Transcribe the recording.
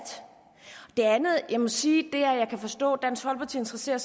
det andet jeg må sige er at jeg kan forstå dansk folkeparti interesserer